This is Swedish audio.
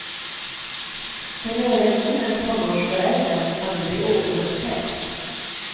Som övergiven tonårsförälder kan du bli återupptäckt.